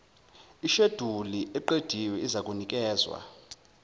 isheduli eqediwe izakunikezwa